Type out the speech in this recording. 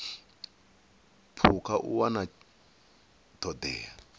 phukha u wana ṱho ḓea